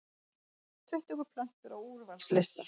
Tuttugu plötur á úrvalslista